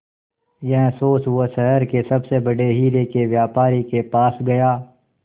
यह सोच वो शहर के सबसे बड़े हीरे के व्यापारी के पास गया